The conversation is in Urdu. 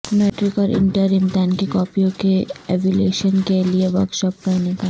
میٹرک اورا نٹر امتحان کی کاپیوں کے ایولیشن کے لیے ورکشاپ کا انعقاد